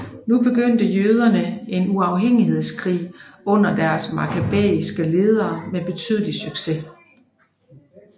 Nu begyndte jøderne en uafhængighedskrig under deres makkabæiske ledere med betydelig succes